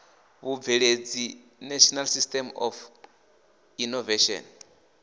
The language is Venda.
vhubveledzi national system of innovation